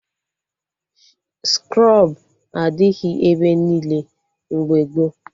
Skrọb adịghị ebe niile mgbe gboo